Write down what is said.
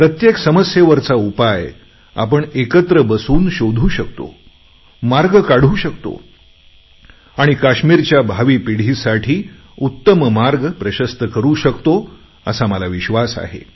प्रत्येक समस्येवरचा उपाय आपण एकत्र बसून शोधू शकतो मार्ग काढू शकतो आणि काश्मीरच्या भावी पिढीसाठी उत्तम मार्ग प्रशस्त करू शकतो असा मला विश्वास आहे